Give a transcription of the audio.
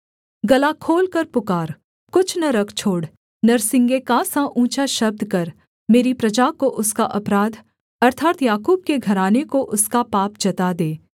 गला खोलकर पुकार कुछ न रख छोड़ नरसिंगे का सा ऊँचा शब्द कर मेरी प्रजा को उसका अपराध अर्थात् याकूब के घराने को उसका पाप जता दे